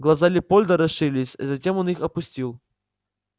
глаза лепольда расширились затем он их опустил